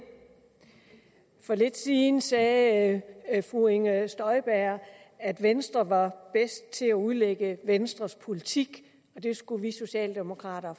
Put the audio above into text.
for lidt siden sagde fru inger støjberg at venstre var bedst til at udlægge venstres politik og at det skulle vi socialdemokrater